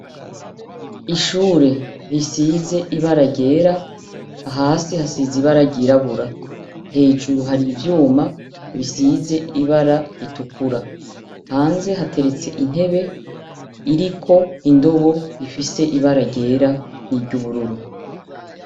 Ishure risize ibara ryera, hasi hasize ibara ryirabura. Hejuru hari ivyuma bisize ibara ritukura. Hanze hateretse intebe iriko indobo ifise ibara ryera niry'ubururu.